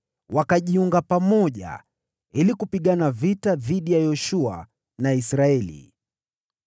wakajiunga pamoja ili kupigana vita dhidi ya Yoshua na Israeli.